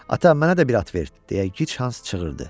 Ata, mənə də bir at ver, deyə gic Hans çığırdı.